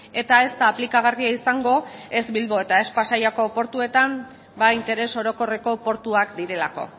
eta ez da aplikagarria izango ez bilbo eta ez pasaiako portuetan interes orokorreko portuak direlako